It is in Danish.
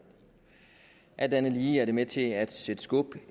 alt andet lige er det med til at sætte skub